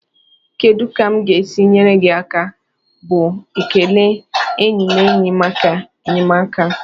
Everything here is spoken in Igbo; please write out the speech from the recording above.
"Kedu ka m ga-esi nyere gị aka?" bụ ekele enyi na enyi maka enyemaka.